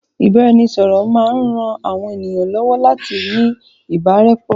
Ìbáraẹnisọ̀rọ̀ maa n ran àwọn ènìyàn lọ́wọ́ láti ní ìbárẹ́pọ́